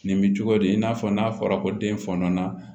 Nin bɛ cogo di i n'a fɔ n'a fɔra ko den fɔnɔ na